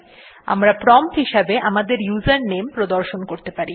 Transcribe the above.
আমরা প্রম্পট হিসাবে আমাদের ইউজারনেম প্রদর্শন করতে পারি